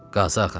Qazi ağa.